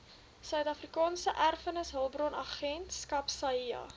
suidafrikaanse erfenishulpbronagentskap saeha